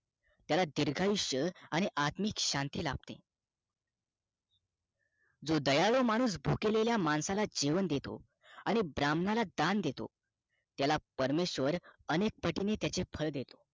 त्याला दीर्घ आयुष्य आणि आत्मिक शांती लाभते जो दयाळू माणूस भुकेलेल्या माणसाला जेवण देतो आणि ब्राह्मणाला दान देतो त्याला परमेशवर अनेक पटीने त्याचे फळ देतो